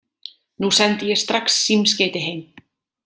Nú sendi ég strax símskeyti heim.